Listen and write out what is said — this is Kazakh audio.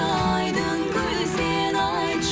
айдын көл сен айтшы